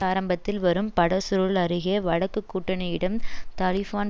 ஆரம்பத்தில் வரும் படசுருள் அருகே வடக்குக் கூட்டணியிடம் தலிஃபான்